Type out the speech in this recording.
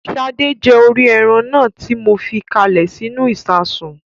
Sadé jẹ orí ẹran náà tí mo fi káalè sínú ìsasùn